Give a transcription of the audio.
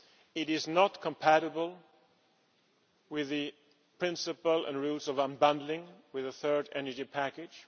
It is not compatible with the principle and rules of unbundling, with the Third Energy Package.